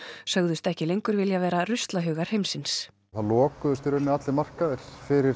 sögðust ekki lengur vilja vera ruslahaugar heimsins það lokuðust í rauninni allir markaðir fyrir